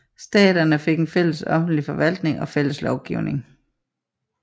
Staterne fik en fælles offentlig forvaltning og fælles lovgivning